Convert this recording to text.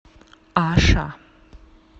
аша